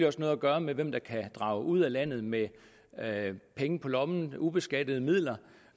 også noget at gøre med hvem der kan drage ud af landet med penge på lommen ubeskattede midler